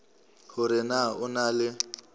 hore na o na le